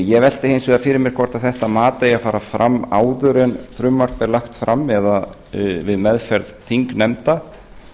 ég velti hins vegar fyrir mér hvort þetta mat eigi að fara fram áður en frumvarp er lagt fram eða við meðferð þingnefnda